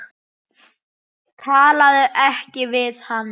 Talaðu ekki við hann.